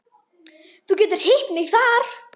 Þú getur hitt mig þar.